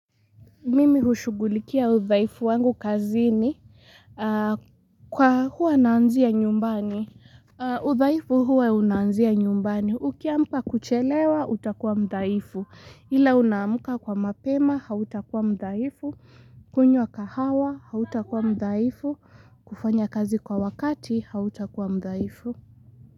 Mimi hushugulikia udhaifu wangu kazini kwa huwa naanzia nyumbani. Udhaifu huwa unaanzia nyumbani. Ukianza kuchelewa utakuwa mdhaifu. Ila unaamka kwa mapema, hautakuwa mdhaifu. Kunywa kahawa, hautakuwa mdhaifu. Kufanya kazi kwa wakati, hautakuwa mdaifu.